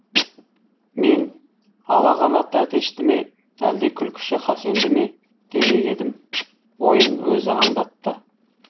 мен ала қанат әтешті ме әлде күлкіші хасенді ме демек едім ойын өзі аңдатты